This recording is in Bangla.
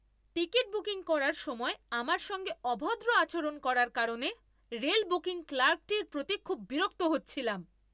টিকিট বুকিং করার সময় আমার সঙ্গে অভদ্র আচরণ করার কারণে রেল বুকিং ক্লার্কটির প্রতি খুব বিরক্ত হচ্ছিলাম।